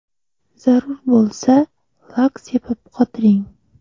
Zarur bo‘lsa, lak sepib qotiring.